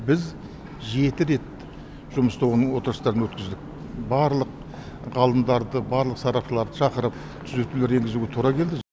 біз жеті рет жұмыс тобының отырыстарын өткіздік барлық ғалымдарды барлық сарапшыларды шақырып түзетулер енгізуге тура келді